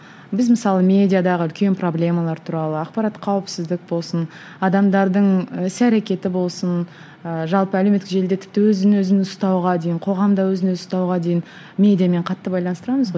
біз мысалы медиадағы үлкен проблемалар туралы ақпарат қауіпсіздік болсын адамдардың іс әрекеті болсын ыыы жалпы әлеуметтік желіде тіпті өзін өзін ұстауға дейін қоғамда өзін өзі ұстауға дейін медиамен қатты байланыстырамыз ғой